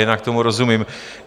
Jinak tomu rozumím.